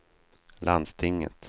landstinget